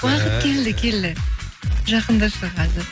уақыт келді келді жақында шығады